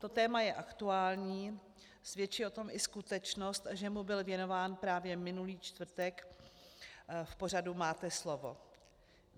To téma je aktuální, svědčí o tom i skutečnost, že mu byl věnován právě minulý čtvrtek v pořadu Máte slovo.